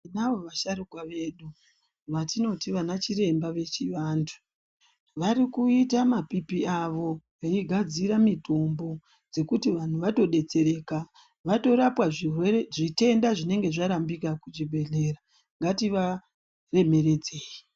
Tinazvo vasharuka vedu ,vatinoti vanachiremba vechivantu. Vari kuita mapipi avo veigadzira mitombo, dzekuti vanhu vatodetsereka vatorapika zvirwere zvinenge zvarambika kuchibhedhlera. Ngativaremeredzei.